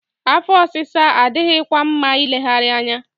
Afọ ọsịsa adịghịkwa mma ileghara anya.